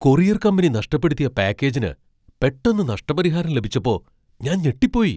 Courier company നഷ്ടപ്പെടുത്തിയ പാക്കേജിന് പെട്ടെന്ന് നഷ്ടപരിഹാരം ലഭിച്ചപ്പോ ഞാൻ ഞെട്ടിപ്പോയി .